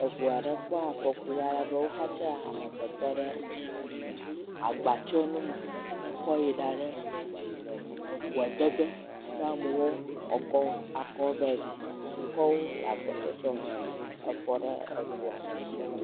Eŋu aɖe kpɔ afɔku alebe woxatsa amegbetɔ ɖe agbatsɔnume hekɔ yina ɖe ŋua de ge na amewo woakɔ akɔ ve yi ɖi. Wokɔ wo le gbɔsɔsɔme efɔ ɖe eŋua me.